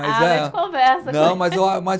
Ah, a gente conversa. Não mas eu a, mas